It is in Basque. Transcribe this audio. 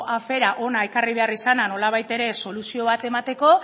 afera hona ekarri behar izana nolabait ere soluzio bat emateko